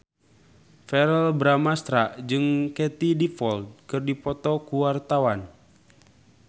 Verrell Bramastra jeung Katie Dippold keur dipoto ku wartawan